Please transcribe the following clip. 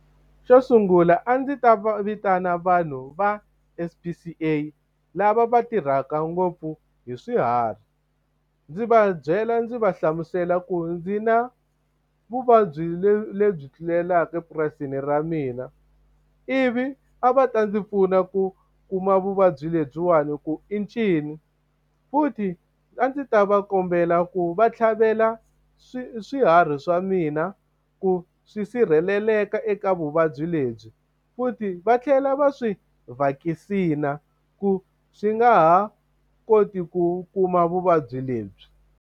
Xo sungula a ndzi ta va vitana vanhu va H_P_C_A lava va tirhaka ngopfu hi swiharhi. Ndzi va byela ndzi va hlamusela ku ndzi na vuvabyi lebyi tlulelaka epurasini ra mina, ivi a va ta ndzi pfuna ku kuma vuvabyi lebyiwani ku i ncini. Futhi a ndzi ta va kombela ku va tlhavela swiharhi swa mina ku swi sirheleleka eka vuvabyi lebyi, futhi va tlhela va swi vhakisina ku swi nga ha koti ku kuma vuvabyi lebyi.